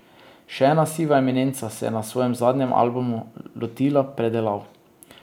Še ena siva eminenca se je na svojem zadnjem albumu lotila predelav.